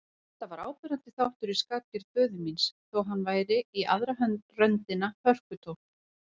Þetta var áberandi þáttur í skapgerð föður míns, þó hann væri í aðra röndina hörkutól.